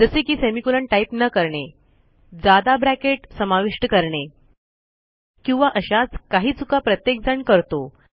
जसे की semicolon type न करणे जादा ब्रॅकेट समाविष्ट करणे किंवा अशाच काही चुका प्रत्येक जण करतो